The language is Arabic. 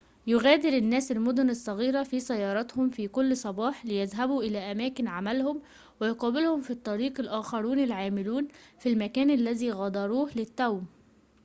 يُغادر الناس المدن الصغيرة في سياراتهم في كل صباح ليذهبوا إلى أماكن عملهم ويقابلهم في الطريق الآخرون العاملون في المكان الذي غادروه للتو